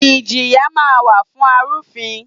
Ìjìyà máa ń wà fún arufin.